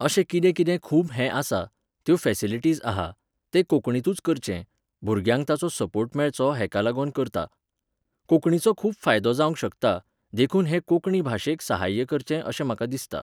अशें कितें कितें खूब हे आसा, त्यो फॅसिलिटीज आहा, ते कोंकणीतूच करचें, भुरग्यांक ताचो सर्पोट मेळचो हेका लागोन करतां. कोंकणीचो खूब फायदो जावंक शकता, देखून हे कोंकणी भाशेक सहाय्य करचे अशें म्हाका दिसता